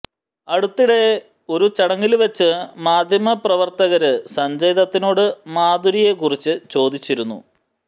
അടുത്തിടെ ഒരു ചടങ്ങില് വെച്ച് മാധ്യമപ്രവര്ത്തകര് സഞ്ജയ് ദത്തിനോട് മാധുരിയെ കുറിച്ച് ചോദിച്ചിരുന്നു